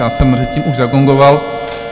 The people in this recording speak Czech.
Já jsem předtím už zagongoval.